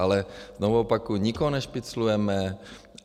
Ale znovu opakuji, nikoho nešpiclujeme.